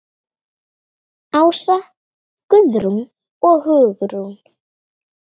Ása, Guðrún og Hugrún.